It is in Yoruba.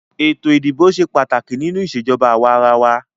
Ètò ìdìbò ṣe pàtàkì nínú ìṣèjọba àwàrawa.